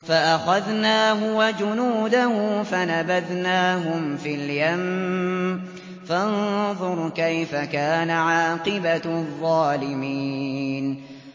فَأَخَذْنَاهُ وَجُنُودَهُ فَنَبَذْنَاهُمْ فِي الْيَمِّ ۖ فَانظُرْ كَيْفَ كَانَ عَاقِبَةُ الظَّالِمِينَ